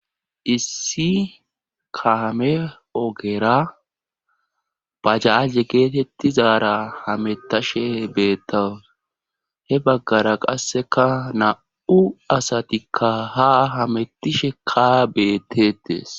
issi kame ogera bajaaje geetettizaara hametashe beettawus he baggara qasseka na7u asatikka ha hamettishe ka beettetees